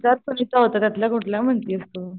त्यातपण आपण इथे होतो त्यातलं कुठल्या म्हणतीस तू?